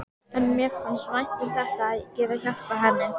En mér fannst vænt um þetta, að geta hjálpað henni.